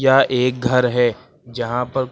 यह एक घर है जहां पर--